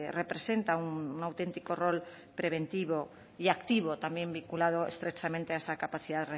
representa un auténtico rol preventivo y activo también vinculado estrechamente a esa capacidad